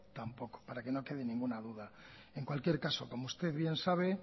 tampoco para que no quede ninguna duda en cualquier caso como usted bien sabe